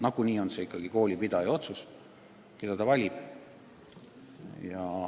Nagunii otsustab ikkagi koolipidaja, keda ta valib.